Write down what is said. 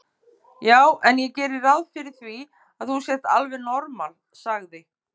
Já en ég geri ráð fyrir því að þú sért alveg normal, sagði